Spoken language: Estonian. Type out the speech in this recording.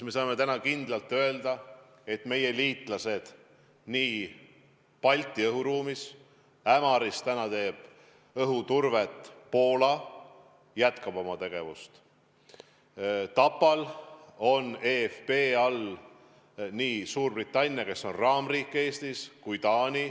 Me saame täna kindlalt öelda, et meie liitlased Balti õhuruumis – Ämaris teeb õhuturvet Poola – jätkavad oma tegevust, Tapal on EFP raames nii Suurbritannia, kes on Eestis raamriik, kui ka Taani.